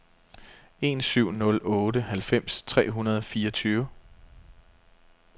en syv nul otte halvfems tre hundrede og fireogtyve